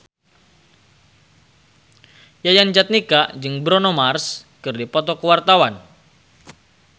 Yayan Jatnika jeung Bruno Mars keur dipoto ku wartawan